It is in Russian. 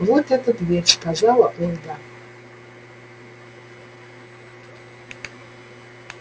вот эта дверь сказала ольга